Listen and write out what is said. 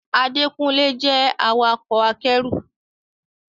Adékúnlé jẹ́ awakọ̀ akẹ́rù